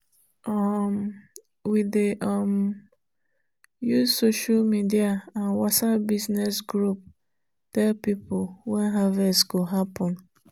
um we dey um use social media and whatsapp business group tell people when harvest go happen.